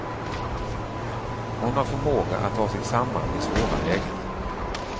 Hon har förmåga att ta sig samman i svåra lägen.